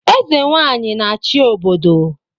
Eze Nwanyị a-achị obodo